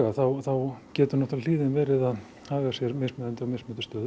þá getur hlíðin verið að haga sér mismunandi á mismunandi stöðum